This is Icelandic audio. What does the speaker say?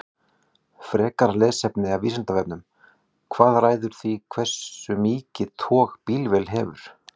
Frekara lesefni af Vísindavefnum: Hvað ræður því hversu mikið tog bílvél hefur?